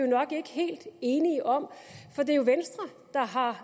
nok ikke helt enige om det er jo venstre der har